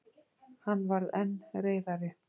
Hann varð enn reiðari.